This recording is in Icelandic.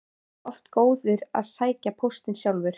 Sigurður heldur ekki of góður að sækja póstinn sjálfur.